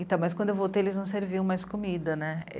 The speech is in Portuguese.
Então, mas quando eu voltei, eles não serviam mais comida, né?